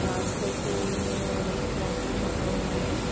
घांस रखी हुई है और एक पौधा लगा हुआ है।